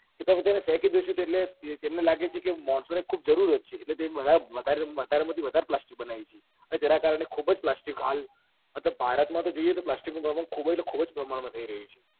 કે બધા તેને ફેંકી દેશે તો એટલે એટલે લાગે છે કે માણસો ને ખુબ જરૂરત છે એટલે તે વધારે માં થી વધારે પ્લાસ્ટિક બનાવે છે અને જેના કારણે ખુબ જ પ્લાસ્ટિક હાલ મતલબ ભારત માં તો જોઈએ તો પ્લાસ્ટિક નું પપ્રમાણ ખુબ જ એટલે ખુબ જ પ્રમાણ માં થઇ રહ્યું છે